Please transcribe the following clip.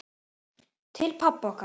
Til pabba okkar.